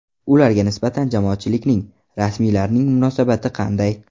Ularga nisbatan jamoatchilikning, rasmiylarning munosabati qanday?